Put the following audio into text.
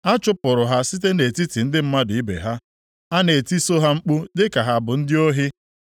A chụpụrụ ha site nʼetiti ndị mmadụ ibe ha, a na-etiso ha mkpu dịka ha bụ ndị ohi.